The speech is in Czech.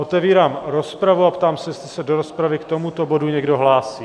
Otevírám rozpravu a ptám se, jestli se do rozpravy k tomuto bodu někdo hlásí?